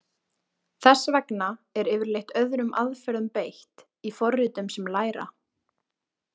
Þess vegna er yfirleitt öðrum aðferðum beitt í forritum sem læra.